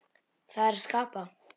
Það er að skapa.